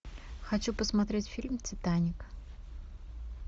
хочу посмотреть фильм титаник